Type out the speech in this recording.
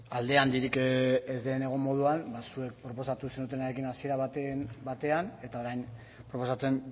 alde handirik ez den egon moduan ba zuek proposatu zenutenarekin hasiera batean eta orain proposatzen